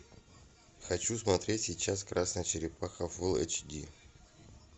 хочу смотреть сейчас красная черепаха фул эйч ди